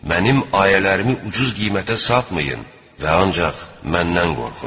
Mənim ayələrimi ucuz qiymətə satmayın və ancaq məndən qorxun!